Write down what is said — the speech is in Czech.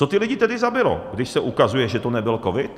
Co ty lidi tedy zabilo, když se ukazuje, že to nebyl covid?